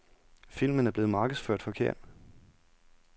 Filmen er blevet markedsført forkert.